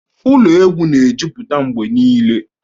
Ụlọ egwu na-ejupụta mgbe niile